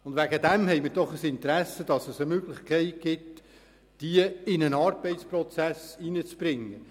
Deswegen haben wir doch ein Interesse daran, sie nach Möglichkeit in einen Arbeitsprozess zu integrieren.